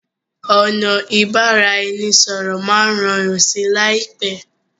ọnà ibaraẹnisọrọ má rọrùn sí láìpé.